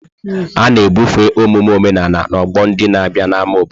A na-ebufe omume omenala n'ọgbọ ndị na-abịa n'ámá obodo.